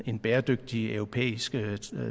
en bæredygtig europæisk